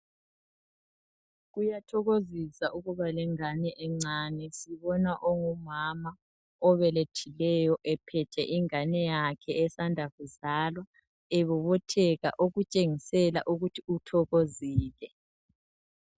Kuyathokozisa ukuba lengane encane .Sibona ongumama obelethileyo ephethe ingane yakhe esanda kuzalwa, ebobotheka okutshengisela ukuthi uthokozile.